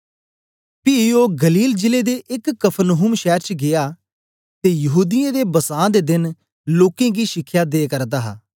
पी ओ गलील जिले दे एक कफरनहूम शैर च गीया ते यहूदीयें दे बसां दे देन लोकें गी शिखया दे करदा हा